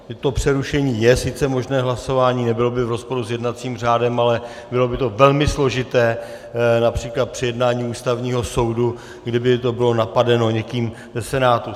To přerušení je sice možné, hlasování, nebylo by v rozporu s jednacím řádem, ale bylo by to velmi složité například při jednání Ústavního soudu, kdyby to bylo napadeno někým ze Senátu.